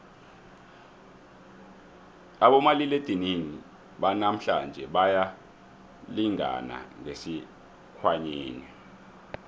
abomaliledinini banamhlanje bayalingana ngesikhwanyeni